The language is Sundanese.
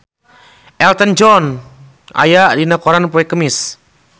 Elton John aya dina koran poe Kemis